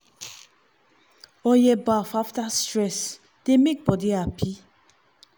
oil bath after stress dey make body happy.